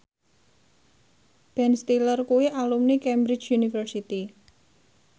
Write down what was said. Ben Stiller kuwi alumni Cambridge University